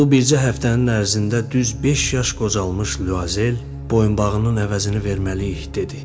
Və bu bircə həftənin ərzində düz beş yaş qocalmış Lyuazel boyunbağının əvəzini verməliyik dedi.